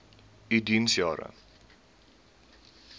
u diens jare